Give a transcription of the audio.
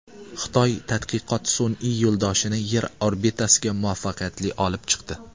Xitoy tadqiqot sun’iy yo‘ldoshini Yer orbitasiga muvaffaqiyatli olib chiqdi.